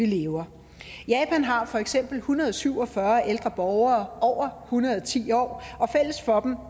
lever japan har for eksempel en hundrede og syv og fyrre ældre borgere over hundrede og ti år og fælles for dem